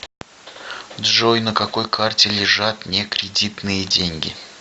джой на какой карте лежат не кредитные деньги